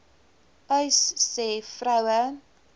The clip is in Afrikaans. uys sê vroue